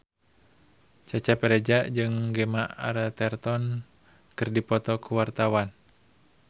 Cecep Reza jeung Gemma Arterton keur dipoto ku wartawan